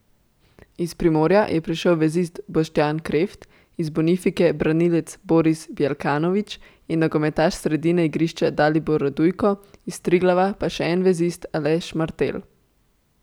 Iz Primorja je prišel vezist Boštjan Kreft, iz Bonifike branilec Boris Bjelkanović in nogometaš sredine igrišča Dalibor Radujko, iz Triglava pa še en vezist Aleš Mertelj.